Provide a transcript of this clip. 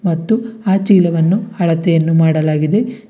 ಮತ್ತು ಆ ಚೀಲವನ್ನು ಅಳತೆಯನ್ನು ಮಾಡಲಾಗಿದೆ.